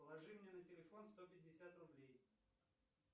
положи мне на телефон сто пятьдесят рублей